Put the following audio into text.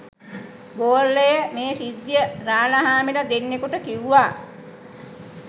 ගෝලය මේ සිද්ධිය රාලහාමිල දෙන්නෙකුට කිව්ව.